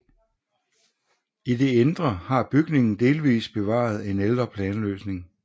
I det indre har bygningen delvist bevaret en ældre planløsning